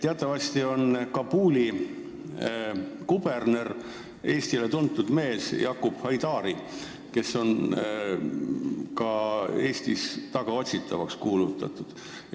Teatavasti on Kabuli kuberner Eestile tuntud mees Yaqub Haidari, kes on ka Eestis tagaotsitavaks kuulutatud.